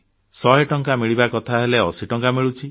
100 ଟଙ୍କା ମିଳିବା କଥା ହେଲେ 80 ଟଙ୍କା ମିଳୁଛି